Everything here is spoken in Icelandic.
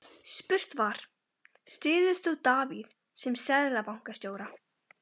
Spurt var, styður þú Davíð sem Seðlabankastjóra?